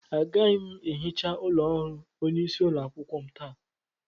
Aga m ehicha ụlọ ọrụ onyeisi ụlọakwukwo taa.